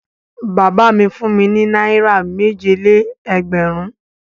Bàbá mi fún mi ní náírà méje-lé-ẹgbẹ̀rún.